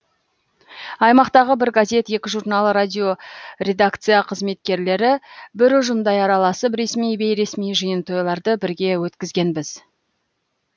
аймақтағы бір газет екі журнал радио редакция қызметкерлері бір ұжымдай араласып ресми бейресми жиын тойларды бірге өткізгенбіз